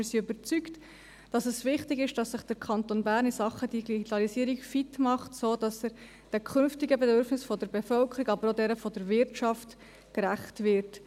Wir sind überzeugt, dass es wichtig ist, dass sich der Kanton Bern in Sachen Digitalisierung fit macht, sodass er den künftigen Bedürfnissen der Bevölkerung, aber auch denjenigen der Wirtschaft gerecht wird.